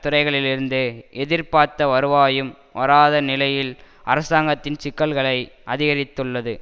துறைகளிலிருந்து எதிர்பார்த்த வருவாயும் வராத நிலையில் அரசாங்கத்தின் சிக்கல்களை அதிகரித்துள்ளது